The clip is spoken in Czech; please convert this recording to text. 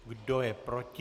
Kdo je proti?